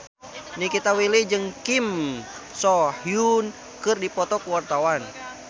Nikita Willy jeung Kim So Hyun keur dipoto ku wartawan